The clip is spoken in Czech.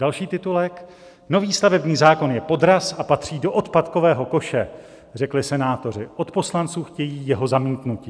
Další titulek: "Nový stavební zákon je podraz a patří do odpadkového koše, řekli senátoři, od poslanců chtějí jeho zamítnutí.